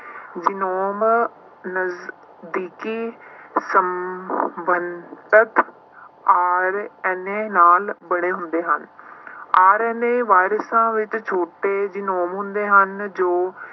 genome ਨਜ਼ਦੀਕੀ ਸਮ~ ~ਬੰਧਕ RNA ਨਾਲ ਬਣੇ ਹੁੰਦੇ ਹਨ RNA ਵਾਇਰਸਾਂ ਵਿੱਚ ਛੋਟੇ ਜਿਨੋਮ ਹੁੰਦੇ ਹਨ ਜੋ